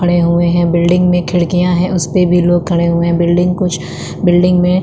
खड़े हुए है बिल्डिंग में खिड़कियाँ हैं उस पे भी लोग खड़े हुए हैं बिल्डिंग कुछ बिल्डिंग में --